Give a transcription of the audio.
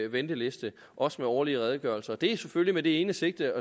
venteliste også med årlige redegørelser det gør vi selvfølgelig med det ene sigte